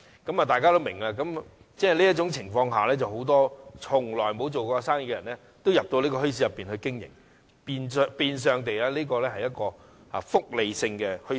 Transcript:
在這種情況下，很多從沒營商經驗的人也加入墟市經營生意，於是該處變相是一個"福利性"的墟市。